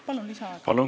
Palun!